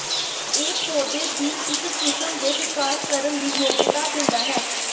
ਇਹ ਪੌਦੇ ਦੀ ਇੱਕ ਕਿਸਮ ਦੇ ਵਿਕਾਸ ਕਰਨ ਦੀ ਯੋਗਤਾ ਦਿੰਦਾ ਹੈ